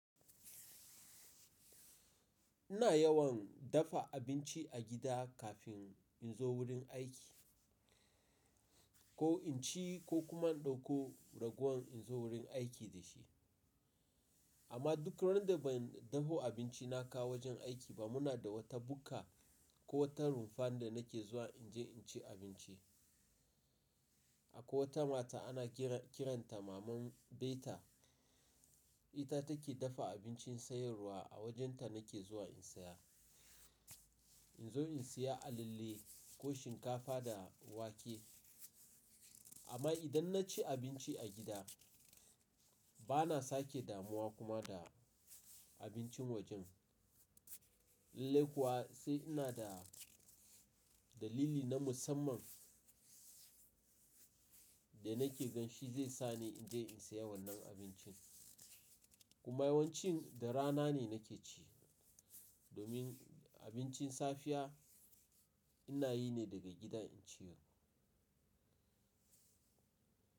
Ina yawan dafa abinci a gida kafin in zo wurin aiki, ko in ci ko kuma in ɗauko raguwan in zo wurin aiki da shi. Amma duk randa ban daho abinci na kawo wajen aiki ba, muna da wata bukka ko wata rumfa da nake zuwa in je in ci abinci. Akwai wata mata ana kiranta maman beta, ita take dafa abincin sayarwa, a wajenta nake zuwa in saya. In zo in saya alalle ko shinkafa da wake. Amma idan na ci abinci a gida, bana sake damuwa kuma da abincin wajen. Lallai kuwa sai ina da dalili na musamman da nake gan shi zai sa ni in je in saya wannan abincin. Kuma yawancin da rana ne nake ci, domin abincin safiya ina yi ne daga gida in ciyo.